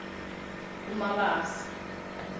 umabasa